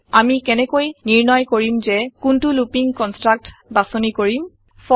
আমি কেনেকৈ নিৰ্ণয় কৰিম যে কোনতো লুপিং কনষ্ট্ৰাক্ট বাচনিকৰিম160